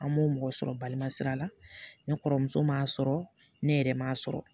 An m'o mɔgɔ sɔrɔ balima sira la ne kɔrɔmuso m'a sɔrɔ ne yɛrɛ m'a sɔrɔ